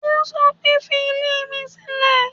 Ó sọ pé, fi ilé mi sílè.